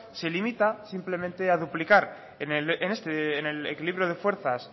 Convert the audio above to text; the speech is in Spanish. se limita simplemente a duplicar en el equilibrio de fuerzas